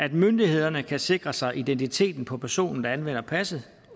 at myndighederne kan sikre sig identiteten på personen der anvender passet